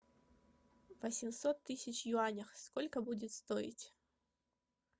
восемьсот тысяч в юанях сколько будет стоить